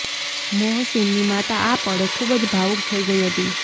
મોહસીનની માતા આ પળે ખૂબ જ ભાવુક થઈ ગઈ હતી